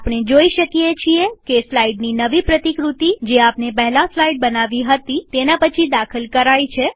આપણે જોઈ શકીએ છીએ કે સ્લાઈડની નવી પ્રતિકૃતિ જે આપણે પહેલા સ્લાઈડ બનાવી હતી તેના પછી દાખલ કરાઈ છે